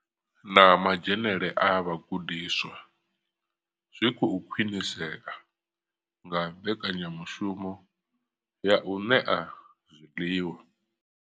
Na madzhenele a vhagudiswa zwi khou khwinisea nga mbekanyamushumo ya u ṋea zwiḽiwa.